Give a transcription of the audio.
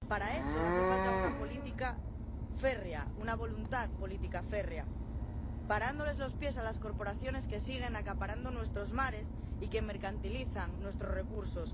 Para eso hace falta una voluntad política férrea, parándoles los pies a las corporaciones que siguen acaparando nuestros mares y que mercantilizan nuestros recursos.